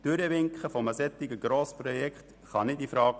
Das Durchwinken eines solchen Grossprojekts kommt nicht infrage.